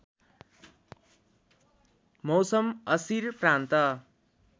मौसम असीर प्रान्त